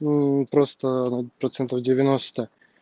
мм просто процентов девяносто